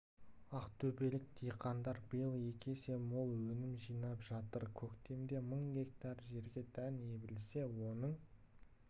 ақтөбелік диқандар биыл екі есе мол өнім жинап жатыр көктемде мың гектар жерге дән себілсе оның